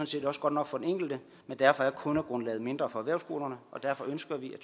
set også godt nok for den enkelte men derfor er kundegrundlaget mindre for erhvervsskolerne og derfor ønsker vi at